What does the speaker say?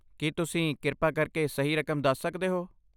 ਕੀ ਤੁਸੀਂ ਕਿਰਪਾ ਕਰਕੇ ਸਹੀ ਰਕਮ ਦੱਸ ਸਕਦੇ ਹੋ?